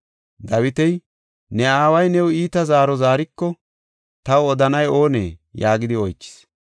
Dawiti “Ne aaway new iita zaaro zaariko, taw odanay oonee?” yaagidi oychis.